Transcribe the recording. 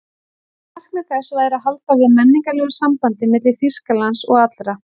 Markmið þess væri að halda við menningarlegu sambandi milli Þýskalands og allra